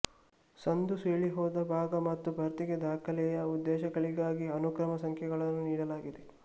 ಸಂದುಸೀಳಿಹೋದ ಭಾಗ ಮತ್ತು ಭರ್ತಿಗೆ ದಾಖಲೆಯ ಉದ್ದೇಶಗಳಿಗಾಗಿ ಅನುಕ್ರಮ ಸಂಖ್ಯೆಗಳನ್ನು ನೀಡಲಾಗಿದೆ